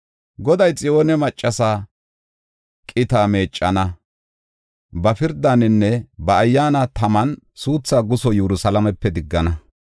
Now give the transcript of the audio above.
Goday Xiyoone maccasa qita meeccana; ba pirdaaninne ba ayyaana taman suutha guso Yerusalaamepe diggana.